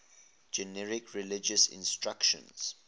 generic religious instruction